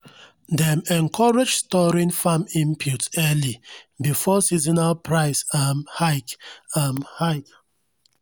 dem encourage storing farm inputs early before seasonal price um hike. um hike.